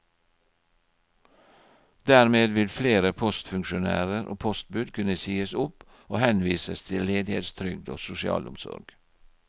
Dermed vil flere postfunksjonærer og postbud kunne sies opp og henvises til ledighetstrygd og sosialomsorg.